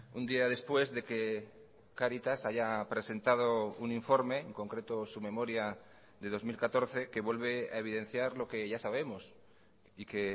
un día después de que cáritas haya presentado un informe en concreto su memoria de dos mil catorce que vuelve a evidenciar lo que ya sabemos y que